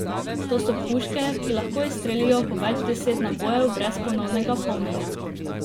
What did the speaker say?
To so puške, ki lahko izstrelijo po več deset nabojev brez ponovnega polnjenja.